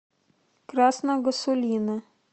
красного сулина